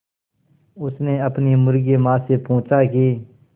उसने अपनी मुर्गी माँ से पूछा की